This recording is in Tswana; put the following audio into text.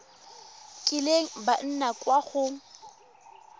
kileng ba nna kwa go